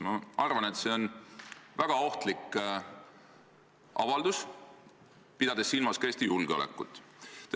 Ma arvan, et see on väga ohtlik avaldus, pidades silmas ka Eesti julgeolekut.